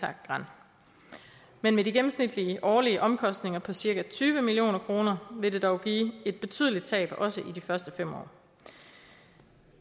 ha gran men med de gennemsnitlige årlige omkostninger på cirka tyve million kroner vil det dog give et betydeligt tab også i de første fem år